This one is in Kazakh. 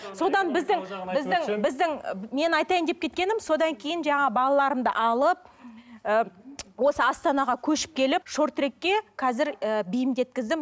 біздің менің айтайын деп кеткенім содан кейін жаңағы балаларымды алып ыыы осы астанаға көшіп келіп шорт трекке қазір і бейімдеткіздім